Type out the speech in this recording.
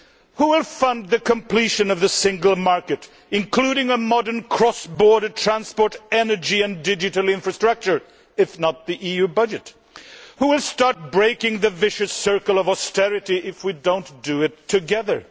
Who will fund the completion of the single market including a modern cross border transport energy and digital infrastructure if not the EU budget? Who will start breaking the vicious circle of austerity if we do not do it together?